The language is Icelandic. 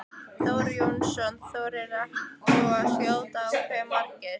Þór Jónsson: Þorir þú að skjóta á hve margir?